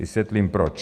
Vysvětlím proč.